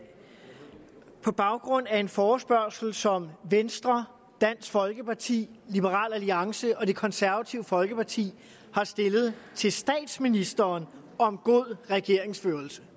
på baggrund af en forespørgsel som venstre dansk folkeparti liberal alliance og det konservative folkeparti har stillet til statsministeren om god regeringsførelse